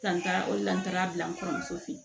Ka n taara o de la n taara bila n kɔrɔmuso fɛ yen